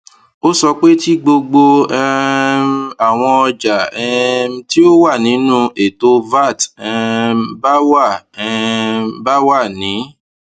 o sọ pe ti gbogbo um awọn ọja um ti o wa ninu eto vat um ba wa um ba wa ni